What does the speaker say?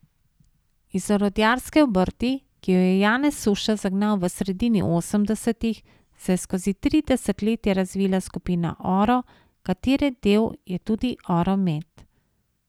Iz orodjarske obrti, ki jo je Janez Suša zagnal v sredini osemdesetih, se je skozi tri desetletja razvila skupina Oro, katere del je tudi Oro met.